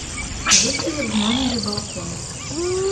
есть ли в номере балкон